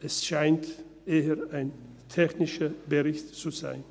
Es scheint eher ein technischer Bericht zu sein.